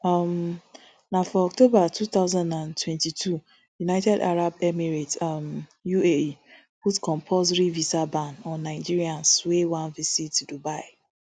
um na for october two thousand and twenty-two united arab emirates um uae put compulsory visa ban on nigerians wey wan visit dubai